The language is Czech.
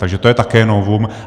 Takže to je také novum.